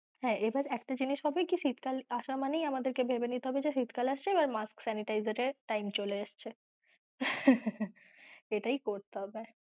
হ্যাঁ এবার একটা জিনিস হবে কি শীতকাল আশা মানেই আমাদের কে ভেবে নিতে হবে যে শীতকাল আসছে আমাদের mask sanitizer এর time চলে এসছে এটাই করতে হবে।